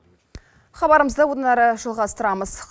хабарымызды одан әрі жалғастырамыз